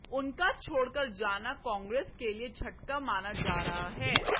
उनका छोड़कर जाना कांग्रेस के लिए झटका माना जा रहा है